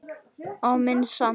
Á minn sann!